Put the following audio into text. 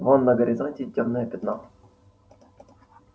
вон на горизонте тёмное пятно